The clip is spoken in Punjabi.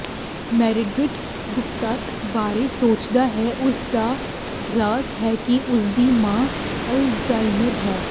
ਮੈਰੀਡਿਥ ਗੁਪਤਤਾ ਬਾਰੇ ਸੋਚਦਾ ਹੈ ਉਸ ਦਾ ਰਾਜ਼ ਹੈ ਕਿ ਉਸਦੀ ਮਾਂ ਅਲਜ਼ਾਈਮਰ ਹੈ